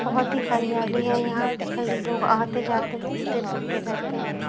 बहुत ही हरियाली है यहां पे कई लोग आते-जाते घूमते फिरते रहते हैं।